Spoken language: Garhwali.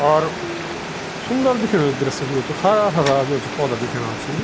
और सुन्दर दिखेणु य दृश्य जो च हरा हरा जो च पौधा दिखेणा छी।